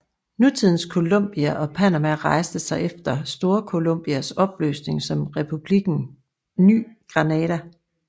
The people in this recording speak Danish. Nutidens Colombia og Panama rejste sig efter Storcolombias opløsning som Republikken Ny Granada